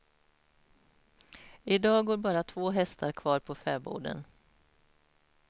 I dag går bara två hästar kvar på fäboden.